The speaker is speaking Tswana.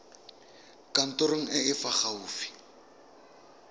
kantorong e e fa gaufi